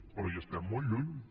però hi estem molt lluny